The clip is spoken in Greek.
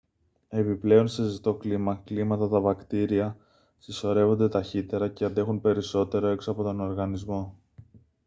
επιπλέον σε ζεστό κλίμα κλίματα τα βακτήρια συσσωρεύονται ταχύτερα και αντέχουν περισσότερο έξω από τον οργανισμό